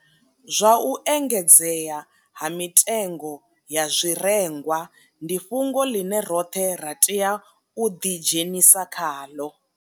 Zwa u engedzea ha mitengo ya zwirengwa ndi fhungo ḽine roṱhe ra tea u ḓidzhenisa khaḽo.